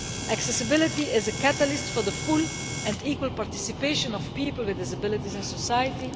Accessibility is a catalyst for the full and equal participation of people with disabilities in society.